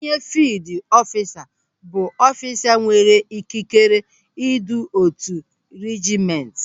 Onye fiild ọfisa bụ ọfisa nwere ikikere idu otu reejiment.